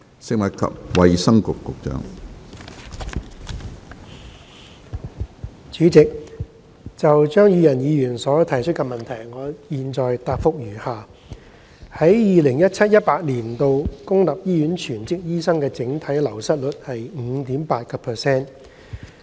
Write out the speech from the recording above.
主席，就張宇人議員提出的質詢，我現答覆如下：一在 2017-2018 年度，公立醫院全職醫生的整體流失率為 5.8%。